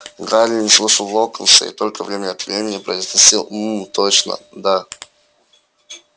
гарри не слушал локонса и только время от времени произносил м-м-м точно да